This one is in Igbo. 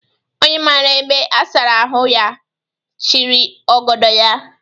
Onye mara ebe a sara ahụ, ya chịrị ogodo ya